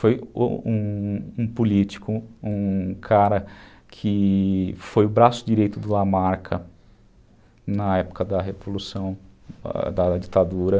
Foi um um político, um cara que foi o braço direito do Lamarca na época da revolução, da ditadura.